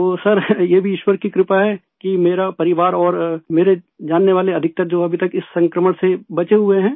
तो सर ये भी ईश्वर की कृपा है कि मेरा परिवार और मेरे जानने वाले अधिकतर जो अभी तक इस संक्रमण से बचे हुए हैं